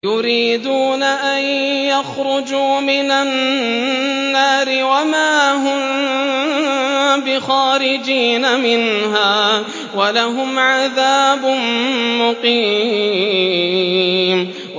يُرِيدُونَ أَن يَخْرُجُوا مِنَ النَّارِ وَمَا هُم بِخَارِجِينَ مِنْهَا ۖ وَلَهُمْ عَذَابٌ مُّقِيمٌ